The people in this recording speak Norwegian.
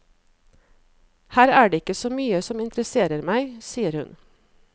Her er det ikke så mye som interesserer meg, sier hun.